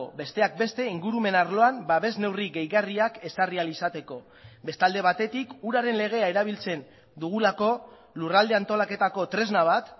besteak beste ingurumen arloan babes neurri gehigarriak ezarri ahal izateko beste alde batetik uraren legea erabiltzen dugulako lurralde antolaketako tresna bat